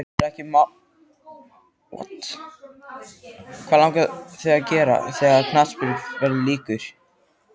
Daðína setti Sólu frá sér og aðgætti myndirnar.